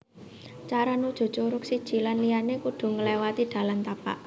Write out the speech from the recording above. Cara nuju curug siji lan liyané kudu ngléwati dalan tapak